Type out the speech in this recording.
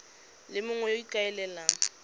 le mongwe yo o ikaelelang